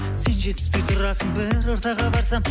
сен жетіспей тұрасың бір ортаға барсам